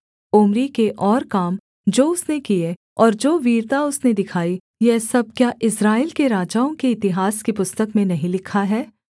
Omri के और काम जो उसने किए और जो वीरता उसने दिखाई यह सब क्या इस्राएल के राजाओं के इतिहास की पुस्तक में नहीं लिखा है